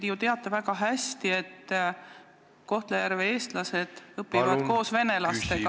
Te ju teate väga hästi, et Kohtla-Järve eestlased õpivad koos venelastega.